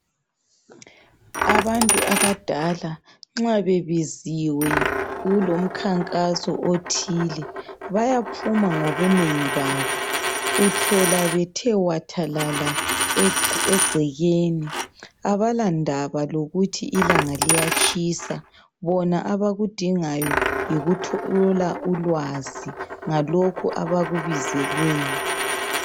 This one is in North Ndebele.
Abantu abadala nxa bebiziwe kulomkhankaso othile bayaphuma ngobunengi babo. Uthola bethe wathalala egcekeni. Abala ndaba lokuthi ilanga liyatshisa. Bona abakudingayo yikuthola ulwazi ngalokho abakubizelweyo.